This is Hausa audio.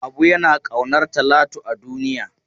Habu yana ƙaunar Talatu a duniya.